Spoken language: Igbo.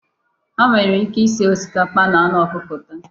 Ha nwere ike isi osikapa na anụ ọkụkọ taa.